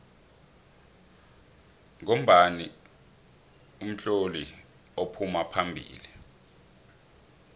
ngombani utloli uphuma phambili